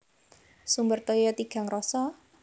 Sumber Toya Tigang Rasa